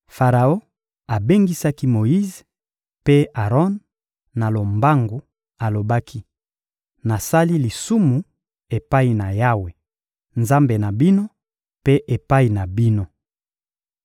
Faraon abengisaki Moyize mpe Aron na lombangu, alobaki: — Nasali lisumu epai na Yawe, Nzambe na bino, mpe epai na bino.